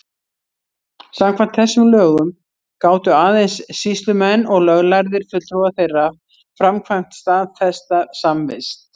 Samkvæmt þessum lögum gátu aðeins sýslumenn og löglærðir fulltrúar þeirra framkvæmt staðfesta samvist.